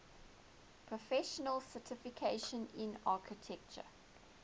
professional certification in architecture